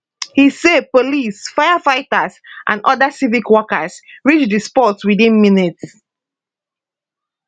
e say police firefighters and oda civic workers reach di spot within minutes